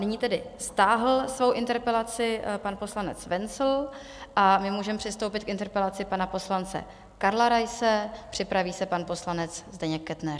Nyní tedy stáhl svou interpelaci pan poslanec Wenzl a my můžeme přistoupit k interpelaci pana poslance Karla Raise, připraví se pan poslanec Zdeněk Kettner.